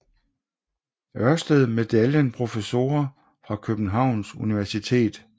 Ørsted Medaljen Professorer fra Københavns Universitet